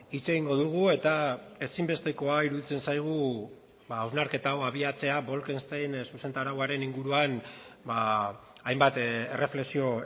hitz egingo dugu eta ezinbestekoa iruditzen zaigu hausnarketa hau abiatzea bolkestein zuzentarauaren inguruan hainbat erreflexio